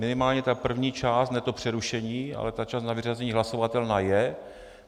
Minimálně tedy první část, ne to přerušení, ale ta část na vyřazení hlasovatelná je.